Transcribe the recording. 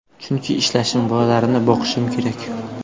Chunki ishlashim, bolalarimni boqishim kerak.